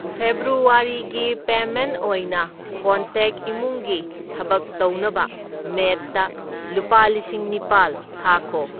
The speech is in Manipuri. ꯐꯦꯕ꯭ꯔꯨꯋꯔꯤꯒꯤ ꯄꯦꯃꯦꯟꯠ ꯑꯣꯏꯅ ꯀꯣꯟꯇꯦꯛ ꯏꯃꯨꯡꯒꯤ ꯊꯕꯛ ꯇꯧꯅꯕ ꯃꯦꯗꯇ ꯂꯨꯄꯥ ꯂꯤꯁꯤꯡ ꯅꯤꯄꯥꯜ ꯊꯥꯈꯣ꯫